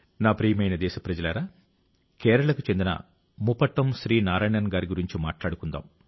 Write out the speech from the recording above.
నా ప్రియమైన దేశప్రజలారా కేరళకు చెందిన ముపట్టం శ్రీ నారాయణన్ గారి గురించి మాట్లాడుకుందాం